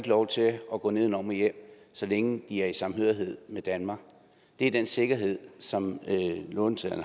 lov til at at gå nedenom og hjem så længe de er i samhørighed med danmark det er den sikkerhed som låntagerne